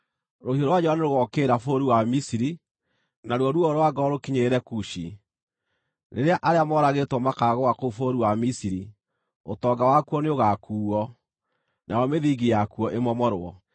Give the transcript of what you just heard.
Rũhiũ rwa njora nĩrũgookĩrĩra bũrũri wa Misiri, naruo ruo rwa ngoro rũkinyĩrĩre Kushi. Rĩrĩa arĩa moragĩtwo makaagũa kũu bũrũri wa Misiri, ũtonga wakuo nĩũgakuuo, nayo mĩthingi yakuo ĩmomorwo.